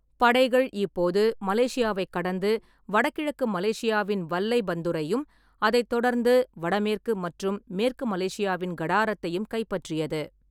படைகள் இப்போது மலேசியாவைக் கடந்து வடகிழக்கு மலேசியாவின் வல்லைபந்துரையும், அதைத் தொடர்ந்து வடமேற்கு மற்றும் மேற்கு மலேசியாவின் கடாரத்தையும் கைப்பற்றியது.